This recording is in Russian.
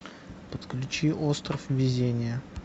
подключи остров везения